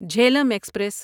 Jhelum express